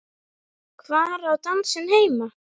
Hvar á dansinn heima?